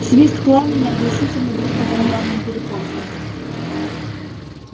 свист пламени оглушительно бил по барабанным перепонкам